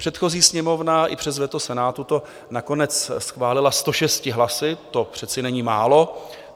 Předchozí Sněmovna i přes veto Senátu to nakonec schválila 106 hlasy, to přece není málo.